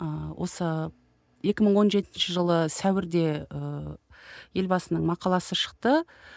ыыы осы екі мың он жетінші жылы сәуірде ыыы елбасының мақаласы шықты